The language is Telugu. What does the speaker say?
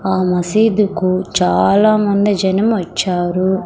ఆ మసీదు కు చాలా మంది జనం వచ్చారు.